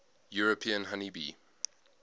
european honey bee